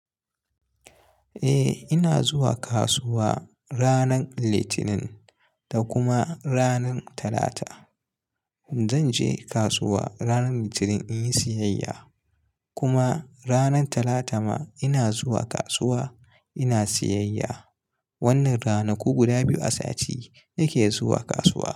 Eh ina zuwa kasuwa ranan Litinin da kuma ranar Talata. Zan je kasuwa ranar Litinin in yi siyayya kuma ranar Talata ma ina zuwa kasuwa ina siyayya. Wannan ranaku guda biyu a sati nake zuwa kasuwa.